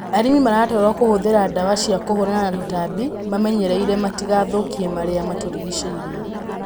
Arĩmi maratarwo kũhũthĩra ndawa cia kũhũrana na tũtambi mamenyereire matigathũkie marĩa matũrigicĩirie.